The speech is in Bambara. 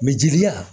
jeli la